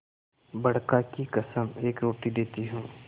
बड़का की कसम एक रोटी देती हूँ